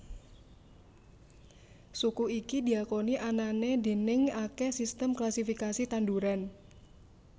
Suku iki diakoni anané déning akèh sistem klasifikasi tanduran